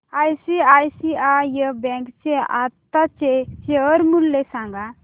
ICICI bank चे आताचे share मूल्य सांगा